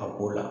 A ko la